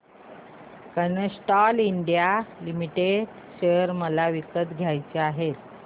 Castrol India limited share मला विकत घ्यायचे आहेत